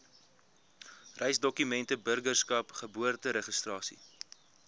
reisdokumente burgerskap geboorteregistrasie